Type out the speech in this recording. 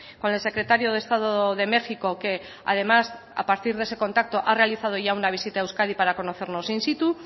con el secretario de estado de méxico que además a partir de ese contacto ha realizado ya una visita a euskadi para conocernos in situ